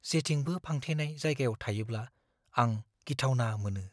जेथिंबो फांथेनाय जायगायाव थायोब्ला, आं गिथावना मोनो।